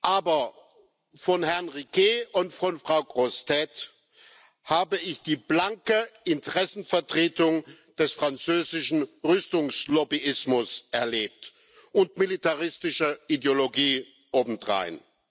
Aber von Herrn Riquet und Frau Grossetête habe ich die blanke Interessenvertretung des französischen Rüstungslobbyismus erlebt und militaristische Ideologie obendrein.